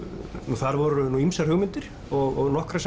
þar voru ýmsar hugmyndir og nokkrar